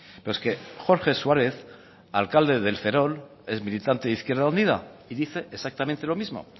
pero es que jorge suárez alcalde del ferrol ex militante de izquierda unida y dice exactamente lo mismo